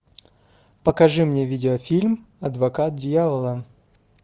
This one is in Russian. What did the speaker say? покажи мне видеофильм адвокат дьявола